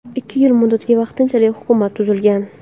Ikki yil muddatga vaqtinchalik hukumat tuzilgan.